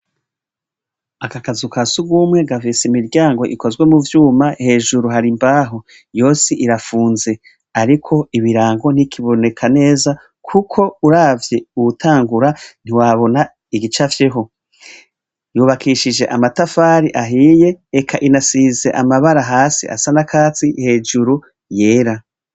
Aka kazu kasugumwe gafis' imiryang' ikozwe mu vyuma, hejuru har' imbaho yos' irafunze, arik' ibirango ntibikiboneka neza , kuk' uravy' uwutangura ntiwabon' igicafyeho yubakishij' amatafar'ahiye, ek' inasiz' amabara, has' asa n' akatsi, hejuru yera.